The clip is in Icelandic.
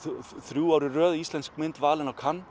þrjú ár í röð íslensk mynd valin á